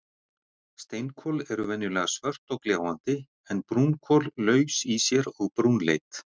Steinkol eru venjulega svört og gljáandi en brúnkol laus í sér og brúnleit.